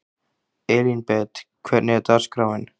Elínbet, hvernig er dagskráin?